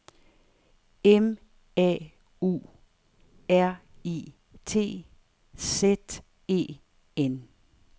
M A U R I T Z E N